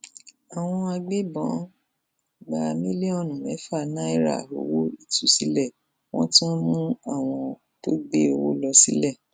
àwọn agbébọn gba mílíọnù mẹfà náírà owó ìtúsílẹ wọn tún mú àwọn tó gbé owó lọ sílé